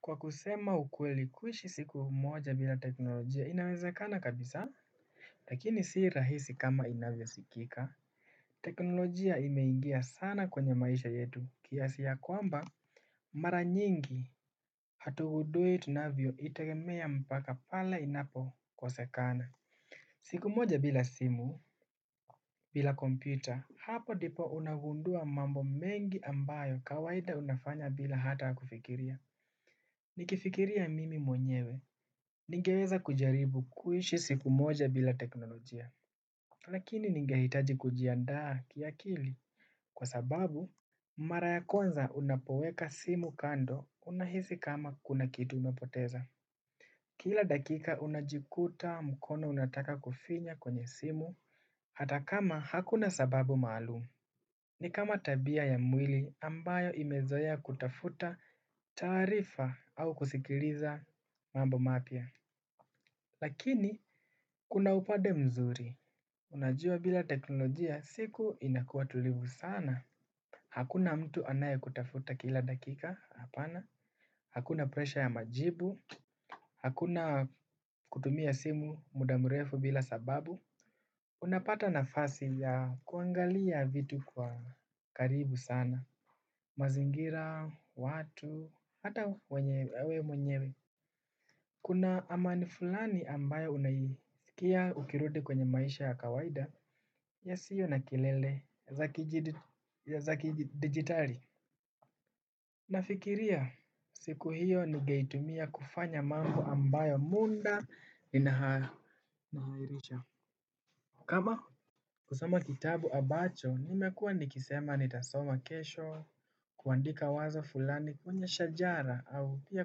Kwa kusema ukweli kuishi siku moja bila teknolojia inawezakana kabisa? Lakini si rahisi kama inavyosikika. Teknolojia imeingia sana kwenye maisha yetu kiasi ya kwamba mara nyingi hatugundui tunavyo itegemea mpaka pale inapokosekana. Siku moja bila simu bila kompyuta hapo ndipo unagundua mambo mengi ambayo kawaida unafanya bila hata kufikiria. Nikifikiria mimi mwenyewe ningeweza kujaribu kuishi siku moja bila teknolojia lakini ningehitaji kujiandaa kiakili kwa sababu mara ya kwanza unapoweka simu kando unahisi kama kuna kitu umepoteza. Kila dakika unajikuta mkono unataka kufinya kwenye simu, hata kama hakuna sababu maalumu. Ni kama tabia ya mwili ambayo imezoea kutafuta taarifa au kusikiliza mambo mapya. Lakini kuna upade mzuri. Unajua bila teknolojia siku inakuwa tulivu sana. Hakuna mtu anaye kutafuta kila dakika. Hakuna presha ya majibu. Hakuna kutumia simu muda mrefu bila sababu unapata nafasi ya kuangalia vitu kwa karibu sana. Mazingira, watu, hata wenye we mwenyewe. Kuna amani fulani ambayo unaisikia ukirudi kwenye maisha ya kawaida yasiyo na kelele za zakidigitali. Nafikiria siku hiyo nigeitumia kufanya mambo ambayo muda inahairisha. Kama kusoma kitabu ambacho nimekuwa nikisema nitasoma kesho. Kuandika wazo fulani kwenye shajara au pia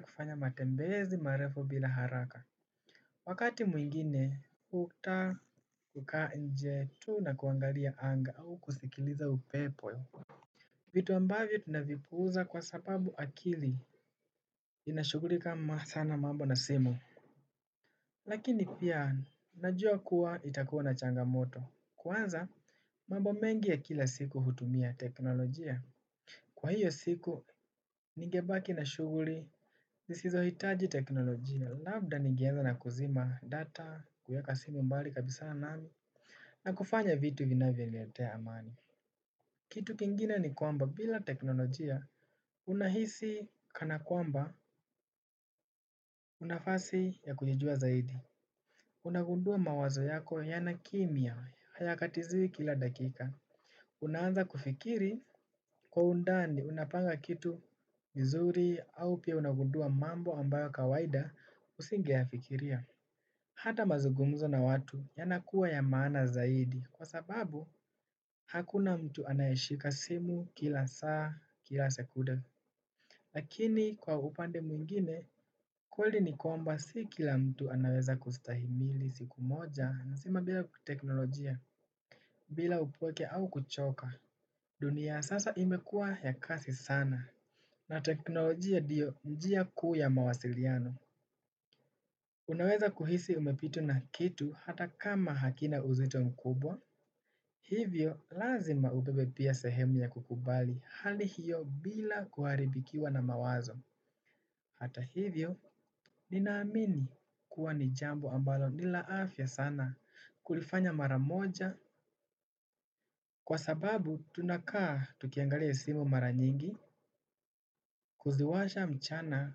kufanya matembezi marefu bila haraka. Wakati mwingine, hukuta kukaa nje tu na kuangalia anga au kusikiliza upepo. Vitu ambavyo tunavipuuza kwa sababu akili inashugulika sana mambo na simu. Lakini pia, najua kuwa itakuwa na changamoto. Kwanza, mambo mengi ya kila siku hutumia teknolojia. Kwa hiyo siku, nigebaki na shuguli nisizohitaji teknolojia. Labda ningeanza na kuzima data kuweka simu mbali kabisa nayo na kufanya vitu vinavyoniletea amani. Kitu kingina ni kwamba bila teknolojia unahisi kana kwamba unafasi ya kujijua zaidi. Unagundua mawazo yako yanakimya hayakatiziwi kila dakika. Unaanza kufikiri kwa undani unapanga kitu vizuri au pia unagundua mambo ambayo kawaida usingeyafikiria. Hata mazugumzo na watu yanakuwa ya maana zaidi kwa sababu hakuna mtu anayeshika simu kila saa kila sekunde. Lakini kwa upande mwingine, ukweli ni kwamba si kila mtu anaweza kustahimili siku moja nasema bila kuteknolojia bila upweke au kuchoka. Dunia ya sasa imekuwa ya kasi sana na teknolojia ndio njia kuu ya mawasiliano. Unaweza kuhisi umepitwa na kitu hata kama hakina uzito mkubwa, hivyo lazima ubebe pia sehemu ya kukubali hali hiyo bila kuharibikiwa na mawazo. Hata hivyo, ninaamini kuwa ni jambo ambalo ni la afya sana kulifanya mara moja kwa sababu tunakaa tukiangalia simu mara nyingi, kuziwasha mchana,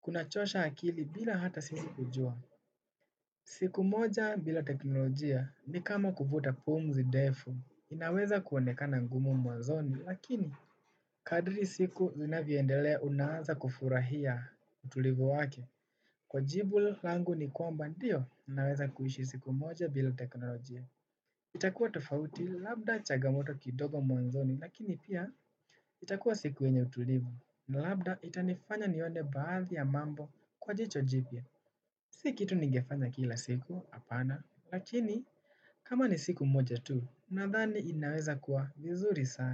kunachosha akili bila hata simu kujua. Siku moja bila teknolojia ni kama kuvuta pumzi ndefu inaweza kuonekana ngumu mwanzoni lakini kadri siku zinavyoendelea unaaza kufurahia utulivu wake. Kwa jibu langu ni kwamba ndio ninaweza kuishi siku moja bila teknolojia. Itakuwa tofauti, labda chagamoto kidogo mwanzoni, lakini pia itakuwa siku yenye utulivu, na labda itanifanya nione baadhi ya mambo kwa jicho jipya. Si kitu ningefanya kila siku, hapana, lakini kama ni siku moja tu, nadhani inaweza kuwa vizuri sana.